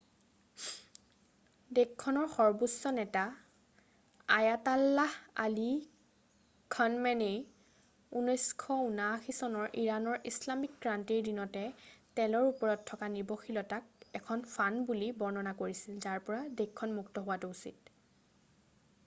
দেশখনৰ সৰ্বোচ্চ নেতা আয়াতাল্লাহ আলি খনমেনেই 1979 চনৰ ইৰাণৰ ইছলামিক ক্ৰান্তিৰ দিনতে তেলৰ ওপৰত থকা নিৰ্ভৰশীলতাক এখন ফান্দ” বুলি বৰ্ণনা কৰিছিল যাৰ পৰা দেশখন মূক্ত হোৱাটো উচিত।